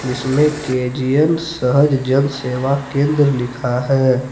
इसमें के_जी_एन सहज जन सेवा केंद्र लिखा है।